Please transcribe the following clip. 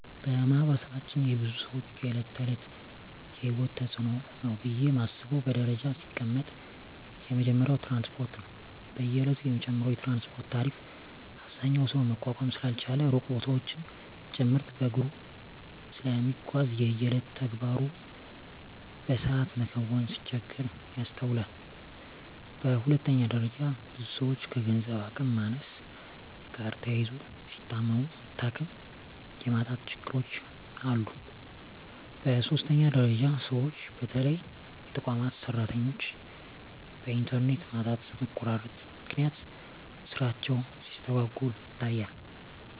በማህበረሰባችን የብዙ ሰወች የእለት ተእለት የሂወት ተጽኖ ነው ብየ ማስበው በደረጃ ሲቀመጥ የመጀመሪያው ትራንስፓርት ነው። በየእለቱ የሚጨምረው የትራንስፓርት ታሪፍ አብዛኛው ሰው መቋቋም ስላልቻለ ሩቅ ቦታወችን ጭምርት በእግሩ ስለሚጓዝ የየእለት ተግባሩን በሰአት መከወን ሲቸገር ይስተዋላል። በሁለተኛ ደረጃ ብዙ ሰወች ከገንዘብ አቅም ማነስ ጋር ተያይዞ ሲታመሙ መታከሚያ የማጣት ችግሮች አሉ። በሶስተኛ ደረጃ ሰወች በተለይ የተቋማት ሰራተኞች በእንተርኔት ማጣትና መቆራረጥ ምክንያት ስራቸው ሲስተጓጎል ይታያል።